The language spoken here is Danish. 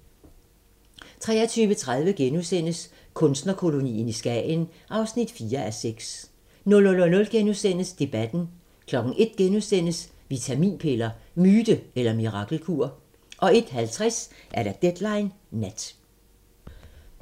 23:30: Kunstnerkolonien i Skagen (4:6)* 00:00: Debatten * 01:00: Vitaminpiller – myte eller mirakelkur? * 01:50: Deadline Nat